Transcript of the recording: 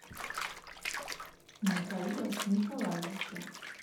михаила николаевича